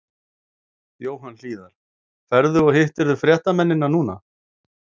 Jóhann Hlíðar: Ferðu og, hittirðu fréttamennina núna?